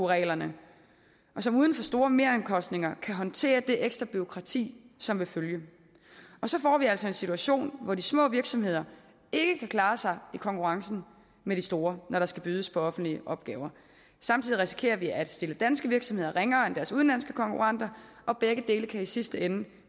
reglerne og som uden for store meromkostninger kan håndtere det ekstra bureaukrati som vil følge med så får vi altså en situation hvor de små virksomheder ikke kan klare sig i konkurrencen med de store når der skal bydes på offentlige opgaver og samtidig risikerer vi at stille danske virksomheder ringere end deres udenlandske konkurrenter og begge dele kan i sidste ende